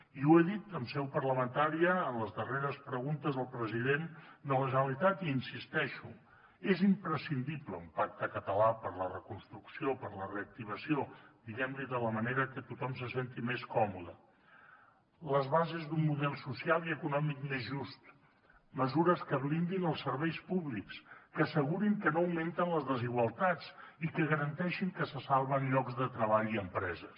i ho he dit en seu parlamentària en les darreres preguntes al president de la generalitat i hi insisteixo és imprescindible un pacte català per a la reconstrucció per a la reactivació diguem ne de la manera que tothom se senti més còmode les bases d’un model social i econòmic més just mesures que blindin els serveis públics que assegurin que no augmenten les desigualtats i que garanteixin que se salven llocs de treball i empreses